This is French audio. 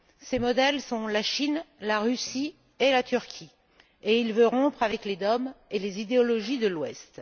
Ses modèles sont la Chine, la Russie et la Turquie, et il veut rompre avec les dogmes et les idéologies de l'Ouest.